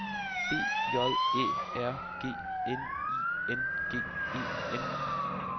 B J Æ R G N I N G E N